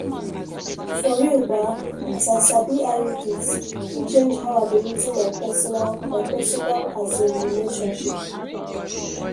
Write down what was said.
for real ba as i sabi iuds e change how i dey reason my personal my personal asin relationship